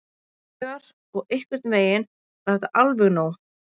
Áslaugar og einhvern veginn var það alveg nóg.